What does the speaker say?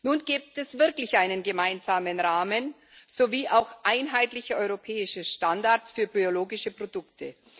Nun gibt es wirklich einen gemeinsamen Rahmen sowie auch einheitliche europäische Standards für biologische Produkte.